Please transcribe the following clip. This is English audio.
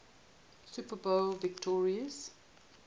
super bowl victories